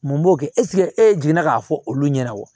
Mun b'o kɛ e jiginna k'a fɔ olu ɲɛna wa